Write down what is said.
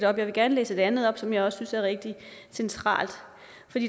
op jeg vil gerne læse et andet op som jeg også synes er rigtige centralt